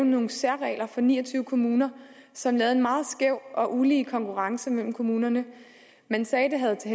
nogle særregler for ni og tyve kommuner som gav en meget skæv og ulige konkurrence mellem kommunerne man sagde at det havde til